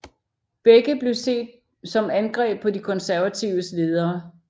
Begge blev set som angreb på de konservatives ledere